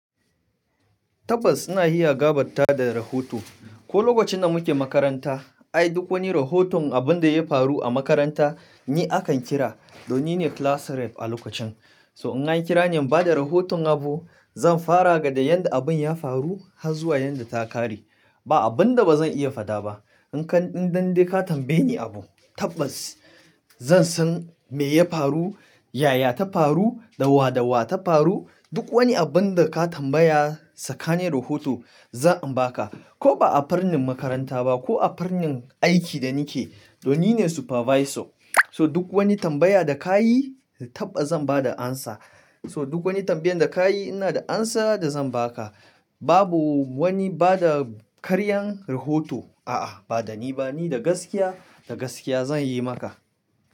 Tabbas ina iya gabatar da rahoto. Ko lokacin da muke makaranta, ai duk wani rahoton abin da ya faru a makaranta ni akan kira, don ni ne class rep a lokacin. So in an kira ni in bada rahoton abu, zan fara ga da yadda abun ya faru har zuwa yadda ta kare. Ba abun da bazan iya fada ba. In kaɗan dande ka tambaye ni abu, tabbas zan san me ya faru, yaya ta faru, dawwa dawwa ta faru. Duk wani abun da ka tambaya sakani rahoto zan baka. Ko ba a farnin makaranta ba ko a farnin aikin da nake, don ni ne supervisor. So duk wani tambaya da ka yi tabbas zan bada answer. So duk wani tambayan da ka yi ina da answer da zan ba ka. Babu wani bada karyan rahoto. A'a ba da ni ba, ni da gaskiya, da gaskiya zan yi maka.